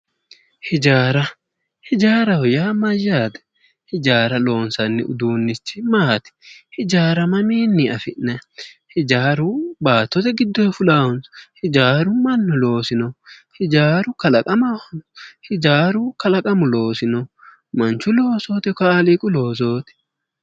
Hijaaraho yaa mayylate hijaara loonsnni udunnichi maati?